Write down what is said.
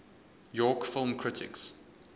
york film critics